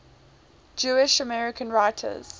jewish american writers